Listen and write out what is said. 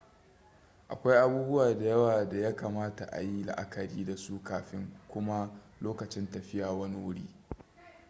akwai abubuwa da yawa da ya kamata ayi la'akari da su kafin kuma lokacin tafiya wani wuri